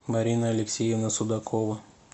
марина алексеевна судакова